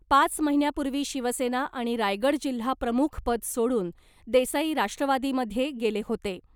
पाच महिन्यांपूर्वी शिवसेना आणि रायगड जिल्हा प्रमुखपद सोडून देसाई राष्ट्रवादीमध्ये गेले होते .